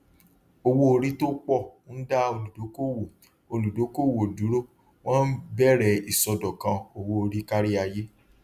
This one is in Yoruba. owóorí tó pọ ń dá olùdókòwò olùdókòwò dúró wọn bẹrẹ ìsọdọkan owóorí kárí ayé